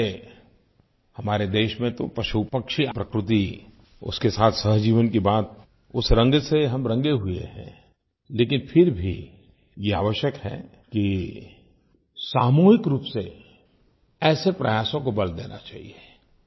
वैसे हमारे देश में तो पशुपक्षी प्रकृति उसके साथ सहजीवन की बात उस रंग से हम रंगे हुए हैं लेकिन फिर भी ये आवश्यक है कि सामूहिक रूप से ऐसे प्रयासों को बल देना चाहिये